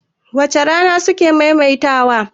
wace Rana suke maimaita wa?